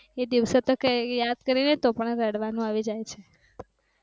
તો કે યાદ કરી ને તો પણ રડવાનું આવી જાય છે.